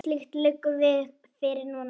Ekkert slíkt liggur fyrir núna.